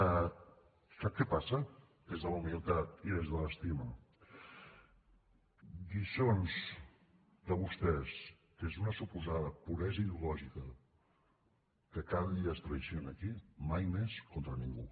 sap què passa des de la humilitat i des de l’estima lliçons de vostès des d’una suposada puresa ideològica que cada dia es traeix aquí mai més contra ningú